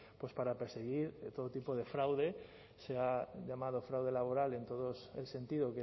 pues para perseguir todo tipo de fraude se ha llamado fraude laboral en todo el sentido